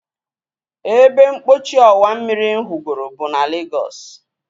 Ebempochi ọwa mmiri m hụgoro bụ na Legos